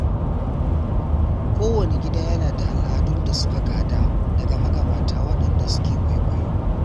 Kowane gida yana da al’adun da suka gada daga magabata waɗanda suke kwaikwayo.